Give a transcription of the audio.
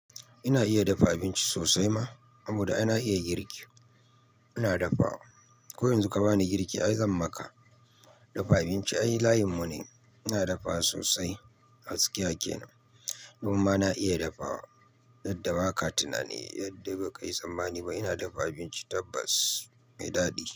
Ina iya dafa abinci sosai ma, saboda ai na iya girki. Ina dafawa. Ko yanzu ka bani girki ai zan maka. Dafa abinci ai layinmu ne. Ina dafawa sosai gaskiya kenan. Komi ma na iya dafawa, yadda baka tunani yadda ba ka yi tsammani ba. Ina dafa abinci tabbas mai daɗi.